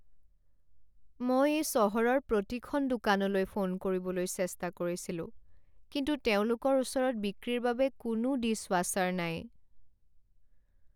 মই এই চহৰৰ প্ৰতিখন দোকানলৈ ফোন কৰিবলৈ চেষ্টা কৰিছিলোঁ, কিন্তু তেওঁলোকৰ ওচৰত বিক্ৰীৰ বাবে কোনো ডিছৱাশ্বাৰ নাই।